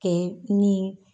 kɛ ni